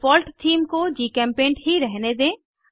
default theme को GChemPaint ही रहने दें